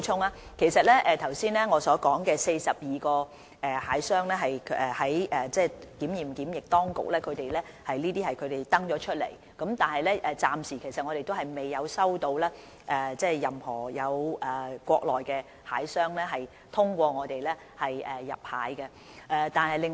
我剛才提及的42個大閘蟹出口商是載列於內地檢驗檢疫部門所公布的名單，但暫時仍未有任何國內大閘蟹出口商通過我們向香港出口大閘蟹。